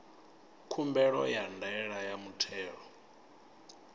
khumbelo ya ndaela ya muthelo